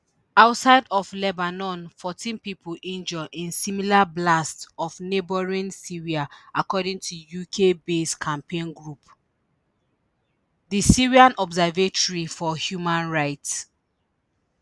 outside of lebanon fourteen pipo injure in similar blasts for neighbouring syria according to ukbased campaign group di syrian observatory for human rights